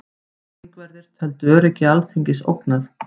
Þingverðir töldu öryggi Alþingis ógnað